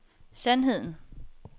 sandheden